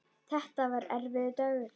Þetta var erfiður dagur.